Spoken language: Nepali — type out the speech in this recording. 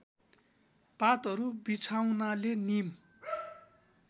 पातहरू बिछाउनाले नीम